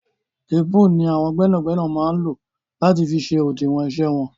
Téèpù ni àwọn gbẹ́nàgbẹ́nà máa ń lò láti fi ṣe òdiwọn iṣẹ́ wọn.